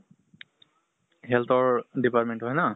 health ৰ department টো হয় ন?